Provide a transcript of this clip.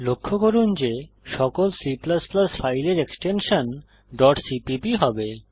লক্ষ্য করুন যে সকল C ফাইলের এক্সটেনশন ডট সিপিপি হবে